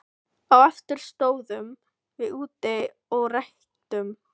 Á eftir stóðum við úti og reyktum.